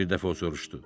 Bir dəfə o soruşdu.